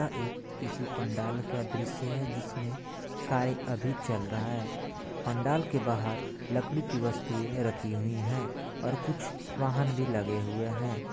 यह एक किसी पंडाल का दृश्य है जिसमें कार्य अभी चल रहा है पंडाल के बाहर लकड़ी की वस्तुएँ रखी हुई है और कुछ वाहन भी लगे हुए हैं।